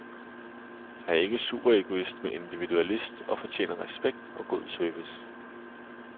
Jeg er ikke superegoist, men individualist og fortjener respekt og god service.